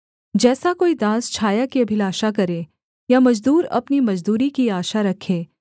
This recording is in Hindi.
जैसा कोई दास छाया की अभिलाषा करे या मजदूर अपनी मजदूरी की आशा रखे